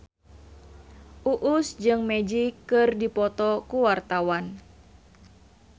Uus jeung Magic keur dipoto ku wartawan